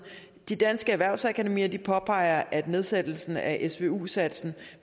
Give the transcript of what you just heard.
danske erhvervsakademier påpeger at nedsættelsen af svu satsen